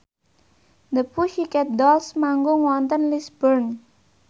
The Pussycat Dolls manggung wonten Lisburn